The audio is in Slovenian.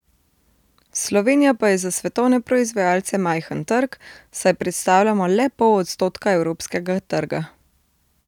Slovenija pa je za svetovne proizvajalce majhen trg, saj predstavljamo le pol odstotka evropskega trga.